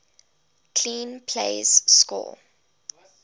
clean plays score